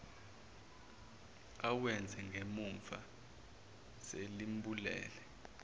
awenze ngemumva selimbulele